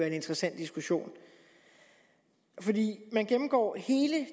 en interessant diskussion man gennemgår hele